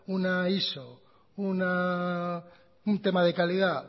una iso un tema de calidad